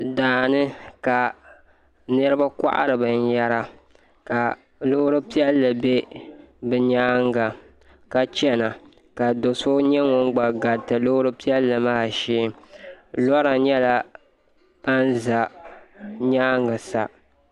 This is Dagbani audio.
Daani ka niraba kohari binyɛra ka Loori piɛlli bɛ bi nyaanga ka chɛna ka do so nyɛ ŋun gba gariti loori piɛlli maa shee lora nyɛla ban ʒɛ nyaangi sa